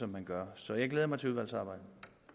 man gør så jeg glæder mig til udvalgsarbejdet